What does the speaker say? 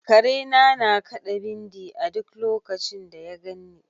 Karena na kaɗa bindi a duk lokacin da ya ganni.